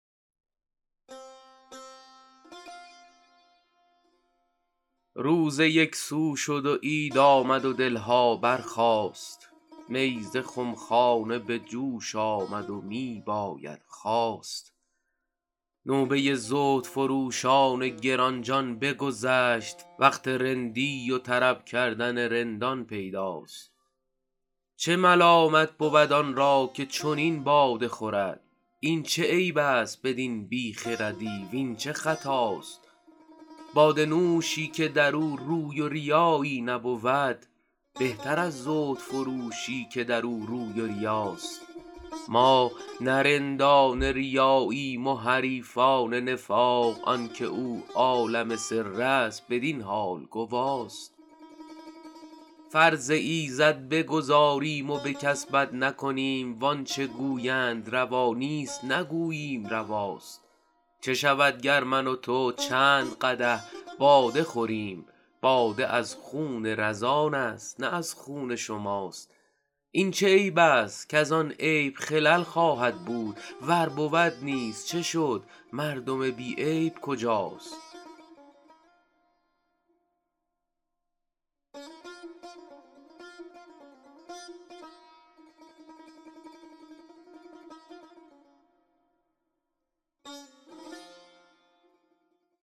روزه یک سو شد و عید آمد و دل ها برخاست می ز خم خانه به جوش آمد و می باید خواست نوبه زهدفروشان گران جان بگذشت وقت رندی و طرب کردن رندان پیداست چه ملامت بود آن را که چنین باده خورد این چه عیب است بدین بی خردی وین چه خطاست باده نوشی که در او روی و ریایی نبود بهتر از زهدفروشی که در او روی و ریاست ما نه رندان ریاییم و حریفان نفاق آن که او عالم سر است بدین حال گواست فرض ایزد بگزاریم و به کس بد نکنیم وان چه گویند روا نیست نگوییم رواست چه شود گر من و تو چند قدح باده خوریم باده از خون رزان است نه از خون شماست این چه عیب است کز آن عیب خلل خواهد بود ور بود نیز چه شد مردم بی عیب کجاست